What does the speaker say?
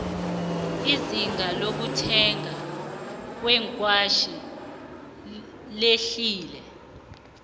izinga lokuthengwa kweengwatjhi lehlile